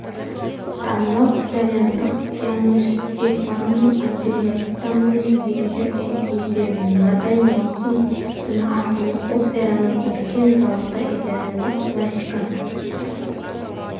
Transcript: танымал итальяндық пианистстефано андреаттамен дирижер эдди де надаи маусым күні астана операның үлкен залында итальяндық классика